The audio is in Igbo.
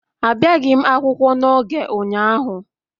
Abịaghi m akwụkwọ n'oge ụnyaahụ